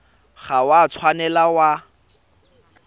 ga o a tshwanela wa